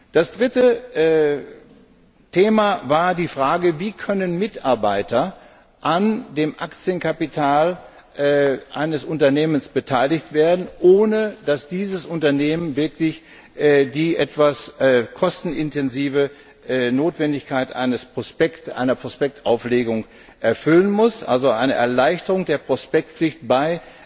Das dritte Thema war die Frage Wie können Mitarbeiter an dem Aktienkapital eines Unternehmens beteiligt werden, ohne dass dieses Unternehmen die etwas kostenintensive Notwendigkeit einer Prospektauflegung erfüllen muss? Also eine Erleichterung der Prospektpflicht bei